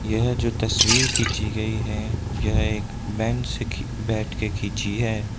यह जो तस्वीर खींची गई है यह एक बेंच से बैठ के खींची है।